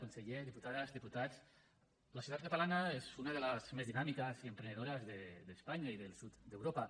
conseller diputades diputats la societat catalana és una de les més dinàmiques i emprenedores d’espanya i del sud d’europa